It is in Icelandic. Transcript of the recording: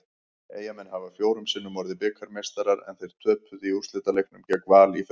Eyjamenn hafa fjórum sinnum orðið bikarmeistarar en þeir töpuðu í úrslitaleiknum gegn Val í fyrra.